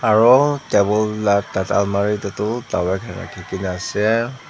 aro table la almari te toh dawai khan rakhi kena ase.